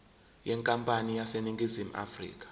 yenkampani eseningizimu afrika